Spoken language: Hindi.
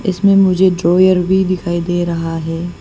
इसमें मुझे ड्रायर भी दिखाई दे रहा है।